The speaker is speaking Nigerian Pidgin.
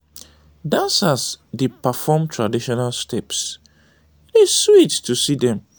dancers dey perform traditional steps; e dey sweet to see dem.